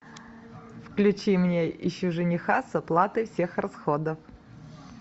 включи мне ищу жениха с оплатой всех расходов